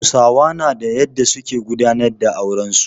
Hausawa na da yadda su ke gudanar da auren su.